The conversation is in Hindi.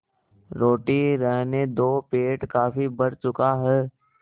रोटी रहने दो पेट काफी भर चुका है